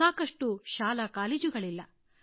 ಸಾಕಷ್ಟು ಶಾಲಾ ಕಾಲೇಜುಗಳಿಲ್ಲ